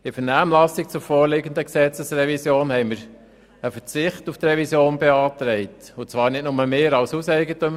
In der Vernehmlassung zur vorliegenden Gesetzesrevision haben wir der Regierung beantragt, auf die Revision gänzlich zu verzichten.